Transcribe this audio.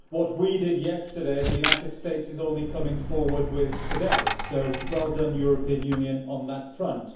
What we did yesterday, the United States is only coming forward with today, so well done European Union on that front.